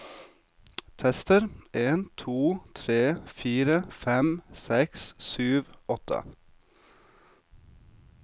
Tester en to tre fire fem seks sju åtte